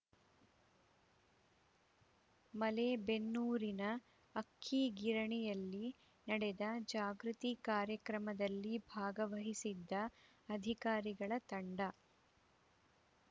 ಮಲೇಬೆನ್ನೂರಿನ ಅಕ್ಕಿಗಿರಣಿಯಲ್ಲಿ ನಡೆದ ಜಾಗೃತಿ ಕಾರ್ಯಕ್ರಮದಲ್ಲಿ ಭಾಗವಹಿಸಿದ್ದ ಅಧಿಕಾರಿಗಳ ತಂಡ